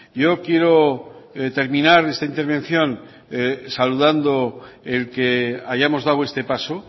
yo quiero terminar esta intervención saludando el que hayamos dado este paso